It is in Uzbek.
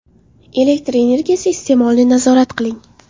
Elektr energiyasi iste’molini nazorat qiling.